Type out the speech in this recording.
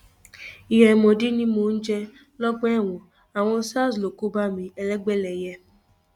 ìyá àìmọdí ni mò ń jẹ lọgbà ẹwọn àwọn sars ló kó bá mi elégbẹlẹyẹ